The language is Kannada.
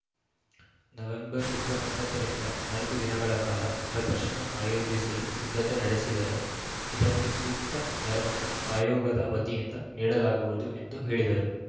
ನವೆಂಬರ್‌ ಇಪ್ಪತ್ತ್ ಒಂಬತ್ತು ರಿಂದ ನಾಲ್ಕು ದಿನಗಳ ಕಾಲ ಪ್ರದರ್ಶನ ಆಯೋಜಿಸಲು ಸಿದ್ಧತೆ ನಡೆಸಿದರೆ ಇದಕ್ಕೆ ಸೂಕ್ತ ನೆರವನ್ನು ಆಯೋಗದ ವತಿಯಿಂದ ನೀಡಲಾಗುವುದು ಎಂದು ಹೇಳಿದರು